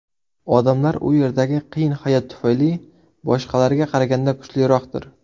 Odamlar u yerdagi qiyin hayot tufayli boshqalarga qaraganda kuchliroqdir.